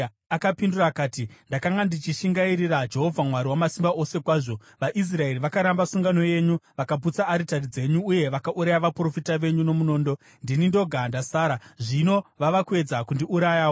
Akapindura akati, “Ndakanga ndichishingairira Jehovha Mwari Wamasimba Ose kwazvo. VaIsraeri vakaramba sungano yenyu, vakaputsa aritari dzenyu, uye vakauraya vaprofita venyu nomunondo. Ndini ndoga ndasara, zvino vava kuedza kundiurayawo.”